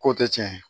Ko tɛ tiɲɛ ye